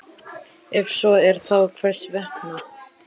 Ef svo er, þá hvers vegna?